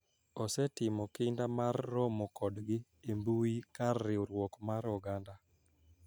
Osetimo kinda mar romo kodgi e mbui kar riwruok mar oganda